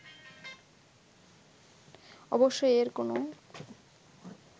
অবশ্যই এর কোনো